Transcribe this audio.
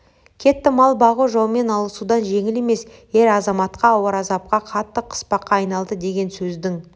кетті мал бағу жаумен алысудан жеңіл емес ер-азаматқа ауыр азапқа қатты қыспаққа айналды деген сөздің